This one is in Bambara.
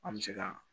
An bɛ se ka